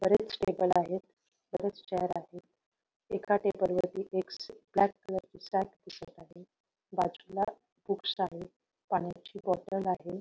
बरेच टेबल आहेत बरेच चेअर आहेत एका टेबल वरती एक ब्लॅक कलर ची सॅक दिसत आहे बाजूला खूप सारे पाण्याची बॉटल आहे.